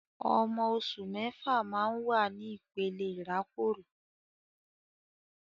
Ọmọ oṣù mẹ́fà máa ń wà ní ìpele ìrákòrò